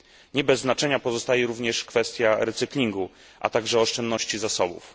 Nie bez znaczenia pozostaje również kwestia recyklingu, a także oszczędności zasobów.